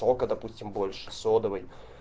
сока допустим больше содовой